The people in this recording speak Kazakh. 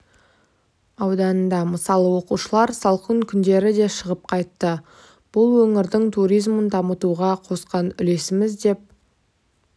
ауданында мысалы оқушылар салқын күндері де шығып қайтты бұл өңірдің туризмін дамытуға қосқан үлесіміз деп